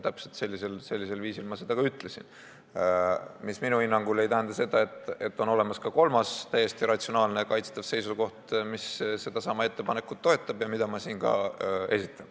Täpselt sellisel viisil ma ka ütlesin, mis minu hinnangul ei tähenda seda, et ei või olemas olla ka kolmas, täiesti ratsionaalne ja kaitstav seisukoht, mis sedasama ettepanekut toetab, mida ma siin ka esitan.